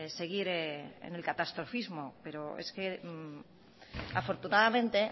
seguir en el catastrofismo pero es que afortunadamente